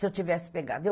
Se eu tivesse pegado.